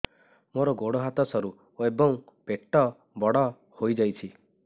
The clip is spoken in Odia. ମୋର ଗୋଡ ହାତ ସରୁ ଏବଂ ପେଟ ବଡ଼ ହୋଇଯାଇଛି